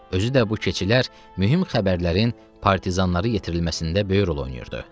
Özü də bu keçilər mühüm xəbərlərin, partizanları yetirilməsində böyük rol oynayırdı.